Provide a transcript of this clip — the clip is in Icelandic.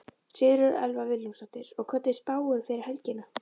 Sigríður Elva Vilhjálmsdóttir: Og hvernig er spáin fyrir helgina?